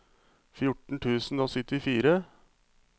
fjorten tusen og syttifire